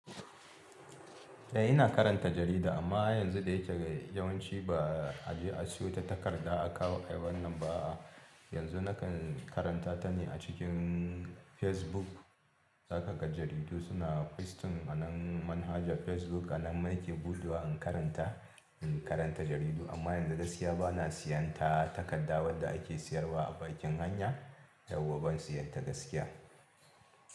Eh ina karanta jarida amma ai yanzu da yake yawanci ba a je a siyo ta takarda a kawo ayi wannan ba a. Yanzu nakan karanta ta ne a cikin Facebook. Saka ga jaridu suna posting a man manahaja Facebook ana maiki bulɗuwa in karanta, in karanta jaridu amma yanzu gaskiya bana siyan ta takarda wadda ake siyarwa a bakin hanya, yauwa ban siyan ta gaskiya.